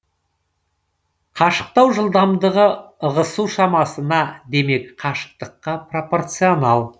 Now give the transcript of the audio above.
қашықтау жылдамдығы ығысу шамасына демек қашықтыққа пропорционал